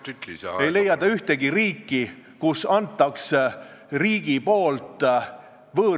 Ma olen täheldanud, et mul on piisavalt sarmi ja inimlikku sädet ning selleks, et naisi saada, ma ei pea füüsilist vägivalda kasutama.